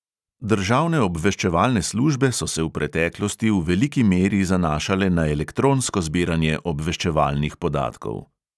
Državne obveščevalne službe so se v preteklosti v veliki meri zanašale na elektronsko zbiranje obveščevalnih podatkov.